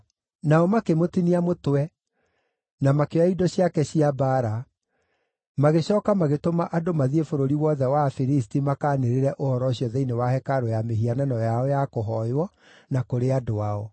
Nao makĩmũtinia mũtwe na makĩoya indo ciake cia mbaara, magĩcooka magĩtũma andũ mathiĩ bũrũri wothe wa Afilisti makaanĩrĩre ũhoro ũcio thĩinĩ wa hekarũ ya mĩhianano yao ya kũhooywo, na kũrĩ andũ ao.